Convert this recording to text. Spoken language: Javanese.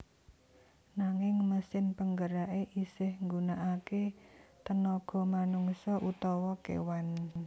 Nanging mesin penggerake isih nggunakake tenaga manungsa utawa kewan